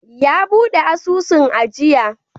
Ya buɗe asusun ajiya.